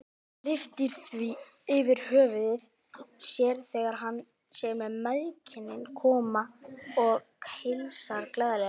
Hann lyftir því yfir höfuð sér þegar hann sér mæðginin koma inn og heilsar glaðlega.